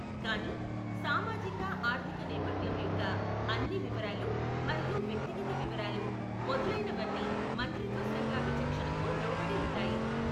కానీ, సామాజిక ఆర్థిక నేపథ్యం యొక్క అన్ని వివరాలు మరియు వ్యక్తిగత వివరాలు మొదలైనవన్నీ మంత్రిత్వ శాఖ విచక్షణకు లోబడి ఉంటాయి.